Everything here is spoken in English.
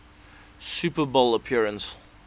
super bowl appearance